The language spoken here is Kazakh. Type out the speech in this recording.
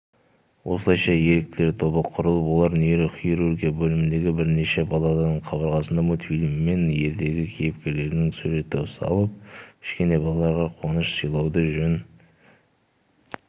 осылайша еріктілер тобы құрылып олар нейрохирургия бөліміндегі бірнеше палатаның қабырғасына мультфильм мен ертегі кейіпкерлерінің суретін салып кішкентай балаларға қуаныш сыйлауды жөн